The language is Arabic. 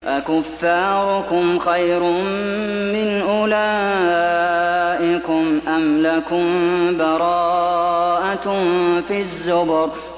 أَكُفَّارُكُمْ خَيْرٌ مِّنْ أُولَٰئِكُمْ أَمْ لَكُم بَرَاءَةٌ فِي الزُّبُرِ